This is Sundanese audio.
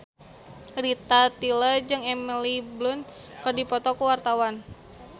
Rita Tila jeung Emily Blunt keur dipoto ku wartawan